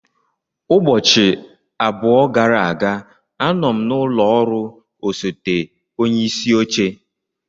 Ụbọchị abụọ gara aga, anọ m n'ụlọ ọrụ osote onye isi oche.